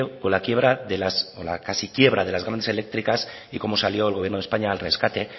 con la quiebra o la casi quiebra de las grandes eléctricas y cómo salió el gobierno de españa al rescate